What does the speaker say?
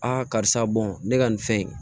karisa ne ka nin fɛn in